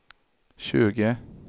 tjugo